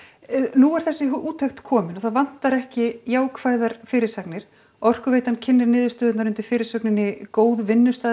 nú er þessi úttekt komin og það vantar ekki jákvæðar fyrirsagnir Orkuveitan kynnir niðurstöðurnar undir fyrirsögninni góð